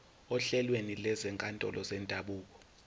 ohlelweni lwezinkantolo zendabuko